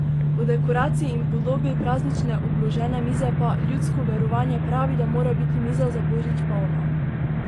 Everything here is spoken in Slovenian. O dekoraciji in podobi praznične obložene mize pa: "Ljudsko verovanje pravi, da mora biti miza za božič polna ...